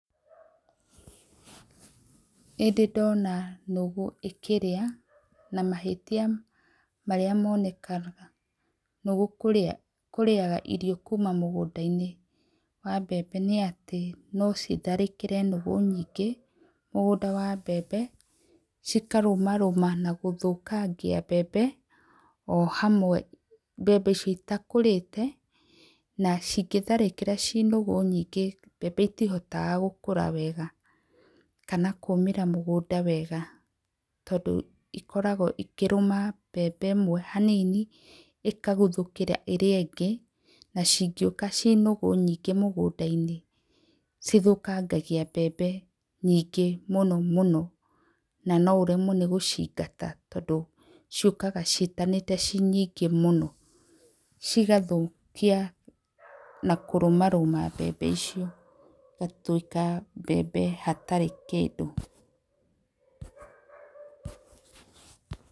Nĩ ndĩ ndona nũgũ ĩkĩrĩa na mahĩtia marĩa monekaga nũgũ kũrĩa irio kuma mũgũnda-inĩ wa mbembe nĩ atĩ no citharĩkĩre nũgũ nyingĩ mũgũnda wa mbembe, cikarũmarũma na gũthũkangia o hamwe mbembe icio citakũrĩte na cingĩtharĩkĩra ciĩ nũgũ nyingĩ mbembe citihotaga gũkũra wega kana kũmĩra mũgũnda wega tondũ ikoragwo ikĩrũma mbembe ĩmwe hanini, ĩkaguthũkĩra ĩrĩa ĩngĩ, na cingĩũka ciĩ nũgũ nyingĩ mũgũnda-inĩ nĩ ithũkangagio mbembe nyingĩ mũno mũno, na no ũremwo nĩ gũcingata tondũ ciũkaga ciĩtanĩte ciĩ nyingĩ mũno, cigathũkia na kũrũmarũma mbembe icio na cigatuĩka mbembe itarĩ kĩndũ.